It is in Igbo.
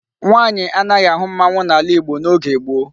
Nwaanyi anaghi ahu mmanwu n'ala igbo n'oge gboo